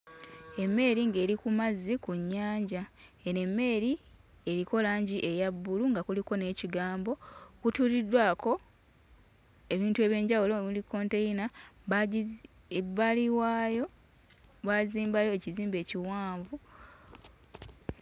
Emmeeri ng'eri ku mazzi ku nnyanja eno emmeeri eriko langi eya bbulu nga kuliko n'ekigambo, kutuuliddwako ebintu eby'enjawulo omuli kkonteyina baagizi ebbali waayo baazimbayo ekizimbe ekiwanvu.